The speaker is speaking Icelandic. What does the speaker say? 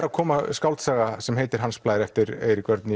að koma skáldsaga sem heitir Hans Blær eftir Eirík Örn